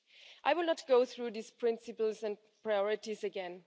I will not go through these principles and priorities again.